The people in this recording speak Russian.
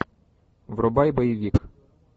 врубай боевик